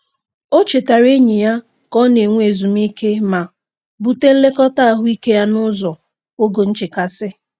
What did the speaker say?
O chetaara enyi ya ka ọ na-enwe ezumike ma bute nlekọta ahụike ya ụzọ n'oge nchekasị.